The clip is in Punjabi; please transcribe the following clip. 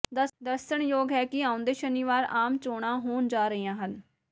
ਦੱਸਣਯੋਗ ਹੈ ਕਿ ਆਉਂਦੇ ਸ਼ਨੀਵਾਰ ਆਮ ਚੋਣਾਂ ਹੋਣਾ ਜਾ ਰਹੀਆਂ ਹਨ